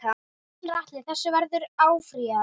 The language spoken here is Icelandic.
Gunnar Atli: Þessu verður áfrýjað?